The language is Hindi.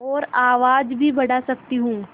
और आवाज़ भी बढ़ा सकती हूँ